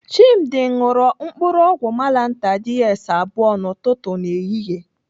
Chimdi ṅụrụ mkpụrụ ọgwụ malantar DS abụọ n'ụtụtụ na ehihie.